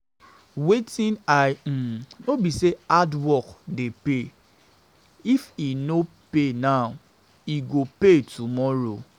Wetin I um no be say hardwork dey pay. If e no pay now, e go pay tomorrow